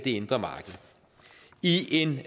indre marked i en